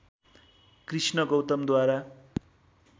Krishna गौतमद्वारा